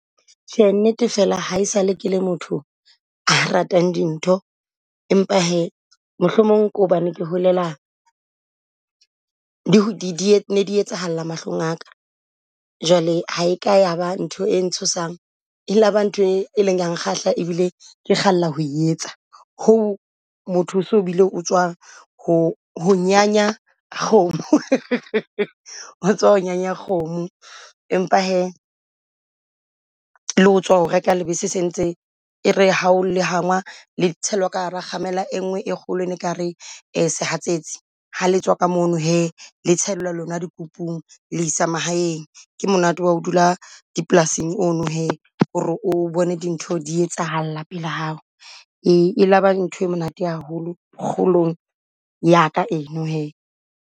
Tjhe, nnete fela ha esale ke le motho a ratang dintho, empa hee mohlomong ke hobane ke holela di di di ne di etsahalla mahlong a ka. Jwale ha e ka ya ba ntho e ntshosang e la ba nthwe e leng ya nkgahla e bile ke kgalla ho etsa. Ho motho so bile o tswa ho ho nyanya kgomo, o tswa ho nyanya kgomo empa hee le ho tswa ho reka lebese se ntse e re ha o le hangwa le tshwelwa ka hara kgamela e nngwe e kgolo e ne kare sehatsetsi. Ha le tswa ka mono hee le tshellwa lona dikopung le isa mahaeng ke monate wa ho dula dipolasing o no hee. Ho re o bone dintho di etsahalla pela hao, e la ba ntho e monate haholo kgolong ya ka eno hee.